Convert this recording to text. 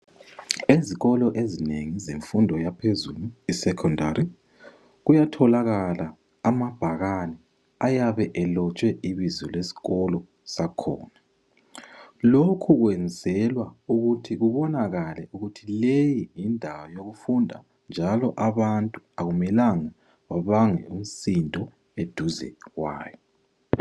Izikolo ezinengi zemfundo yaphezulu kuyatholakala amabhakane ayabe elotshwe ibizo lesikolo sakhona lokhu kwenzelwa ukuthi kubonakale ukuthi leyi yindawo yokufunda njalo abantu akumelanga babange umsindo eduze.